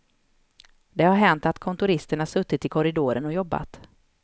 Det har hänt att kontoristerna suttit i korridoren och jobbat.